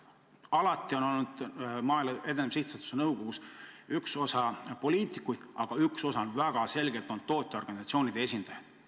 Alati on olnud Maaelu Edendamise Sihtasutuse nõukogus üks osa poliitikuid, aga ühe osa on väga selgelt moodustanud tootjaorganisatsioonide esindajad.